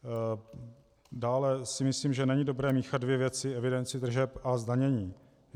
Dále si myslím, že není dobré míchat dvě věci - evidenci tržeb a zdanění.